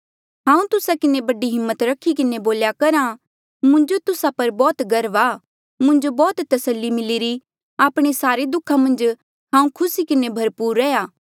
हांऊँ तुस्सा किन्हें बड़ी हिम्मत रखी किन्हें बोल्या करहा मुंजो तुस्सा पर बौह्त गर्व आ मुंजो बौह्त तस्सली मिलिरी आपणे सारे दुःखा मन्झ हांऊँ खुसी किन्हें भरपूर रैंहयां